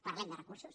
parlem de recursos